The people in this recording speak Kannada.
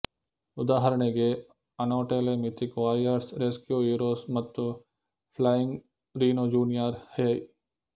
ಉದಾಹರಣೆಗೆ Anatole mythic warriors rescue heroes ಮತ್ತುಫ್ಲೈಯಿಂಗ್ ರಿನೊ ಜುನಿಯರ್ ಹೈ